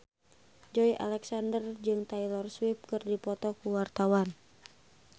Joey Alexander jeung Taylor Swift keur dipoto ku wartawan